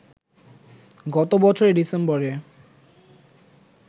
গত বছরের ডিসেম্বরে